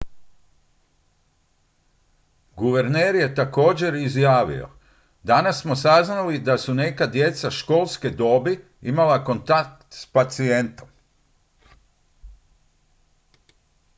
"guverner je također izjavio: "danas smo saznali da su neka djeca školske dobi imala kontakt s pacijentom"".